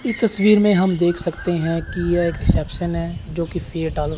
ई तस्वीर में हम देख सकते है कि यह एक रिसेप्शन है जो की पेय डाल--